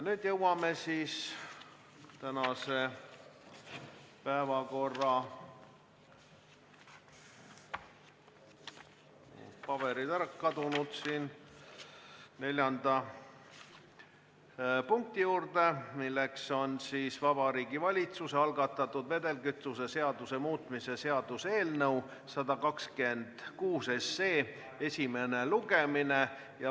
Nüüd jõuame tänase päevakorra neljanda punkti juurde, milleks on Vabariigi Valitsuse algatatud vedelkütuse seaduse muutmise seaduse eelnõu 126 esimene lugemine.